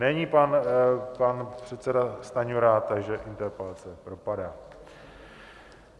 Není pan předseda Stanjura, takže interpelace propadá.